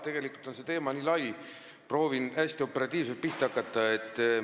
Tegelikult on see lai teema, proovin hästi operatiivselt pihta hakata.